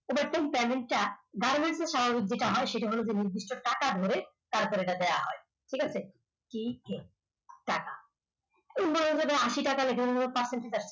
এবার এই Panel টা goverment স্বরূপ যেটা হয় নির্দিষ্ট টাকা ধরে তারপর এটা দেওয়া হয় ঠিক আছে এই যে টাকা আশি টাকা লিখে দিলাম যার percentage আসছে।